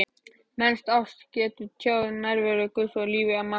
Mennsk ást getur tjáð nærveru Guðs í lífi manna.